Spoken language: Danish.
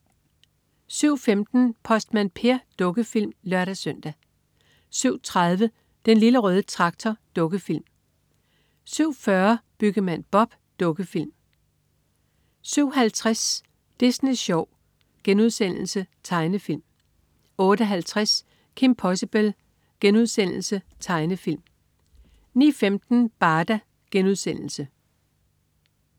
07.15 Postmand Per. Dukkefilm (lør-søn) 07.30 Den lille røde traktor. Dukkefilm 07.40 Byggemand Bob. Dukkefilm 07.50 Disney Sjov.* Tegnefilm 08.50 Kim Possible.* Tegnefilm 09.15 Barda*